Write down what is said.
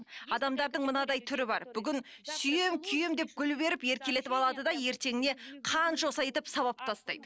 адамдардың мынадай түрі бар бүгін сүйемін күйемін деп гүл беріп еркелетіп алады да ертеңіне қанжоса етіп сабап тастайды